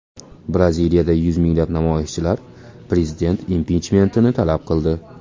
Braziliyada yuz minglab namoyishchilar prezident impichmentini talab qildi.